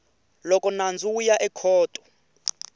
loko nandzu wu ya ekhoto